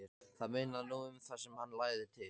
Það munaði nú um það sem hann lagði til.